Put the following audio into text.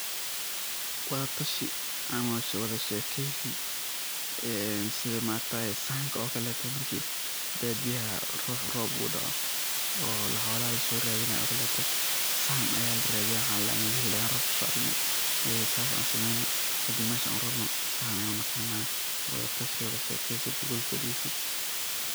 Wadatashi ama wadashekeysi sida maaragtaye sahanka ookale marki badiyaha ruha roob udoco oo xolaha lasoradinayo ookale sahan aya laradiya waxa ladaha meel hebel ayan roob kusoaragne saas an sameyno kadib meesha an urarno, sahan ayan unaqana ama wadatashi, wadashekeysi ama gogol farisi.